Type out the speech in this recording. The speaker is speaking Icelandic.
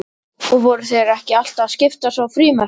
Og voru þeir ekki alltaf að skiptast á frímerkjum?